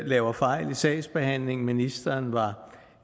laver fejl i sagsbehandlingen ministeren var